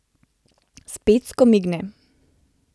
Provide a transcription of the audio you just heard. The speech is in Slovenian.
Spet skomigne.